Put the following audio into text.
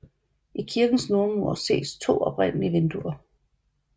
I kirkens nordmur ses to oprindelige vinduer